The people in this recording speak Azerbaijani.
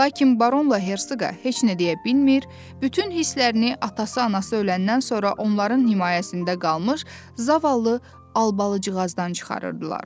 Lakin baronla herqa heç nə deyə bilmir, bütün hisslərini atası, anası öləndən sonra onların himayəsində qalmış zavallı Albalıcıqazdan çıxarırdılar.